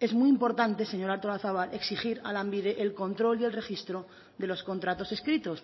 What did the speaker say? es muy importante señora artolazabal exigir a lanbide el control y el registro de los contratos escritos